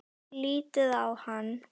Lítið á hann!